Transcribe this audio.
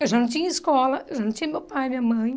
Eu já não tinha escola, eu já não tinha meu pai, minha mãe.